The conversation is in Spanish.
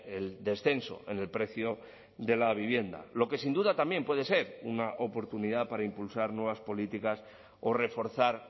el descenso en el precio de la vivienda lo que sin duda también puede ser una oportunidad para impulsar nuevas políticas o reforzar